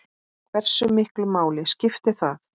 Hversu miklu máli skiptir það?